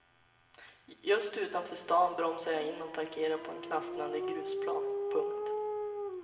Just utanför stan bromsar jag in och parkerar på en knastrande grusplan. punkt